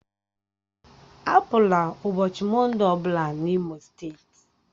Apụla ụbọchị Mọnde ọbụla n'Imo steeti!